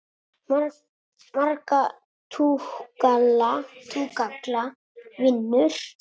Marga túkalla vinur?